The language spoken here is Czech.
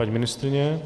Paní ministryně?